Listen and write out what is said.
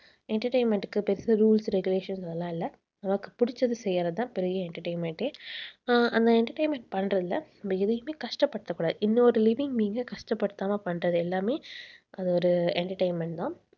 entertainment க்கு பெருசா rules regulations அதெல்லாம் இல்லை. நமக்கு பிடிச்சதை செய்யறதுதான் பெரிய entertainment ஏ. ஆஹ் அந்த entertainment பண்றதுல நம்ம எதையுமே கஷ்டப்படுத்தக் கூடாது. இன்னொரு living being அ கஷ்டப்படுத்தாம பண்றது எல்லாமே அது ஒரு entertainment தான்